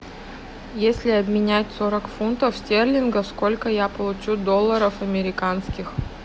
если обменять сорок фунтов стерлингов сколько я получу долларов американских